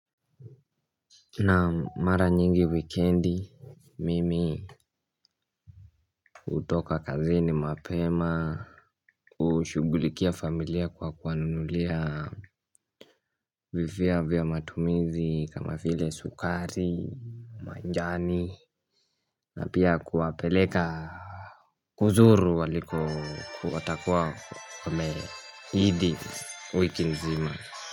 Naam, mara nyingi wikendi mimi hutoka kazini mapema. Hushughulikia familia kwa kuwanunulia vifaa vya matumizi kama vile sukari, majani, na pia kuwapeleka kuzuru walikokuwa watakuwa wamehidi wiki nzima.